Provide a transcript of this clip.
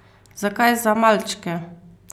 Zakaj za malčke?